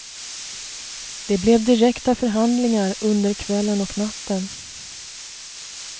Det blev direkta förhandlingar under kvällen och natten.